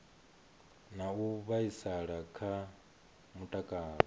na u vhaisala kha mutakalo